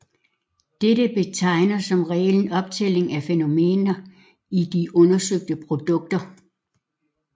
Dette betegner som regel optællinger af fænomener i de undersøgte produkter